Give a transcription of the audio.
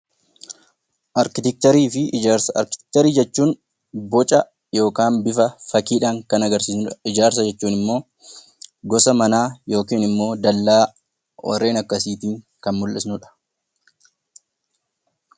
Arkiteekcharii jechuun boca yookiin bifa fakkiidhaan kan agarsiisamudha. Ijaarsa jechuun immoo gosa manaa yookiin immoo dallaa warreen akkasiitiin kan mul'ifnudha.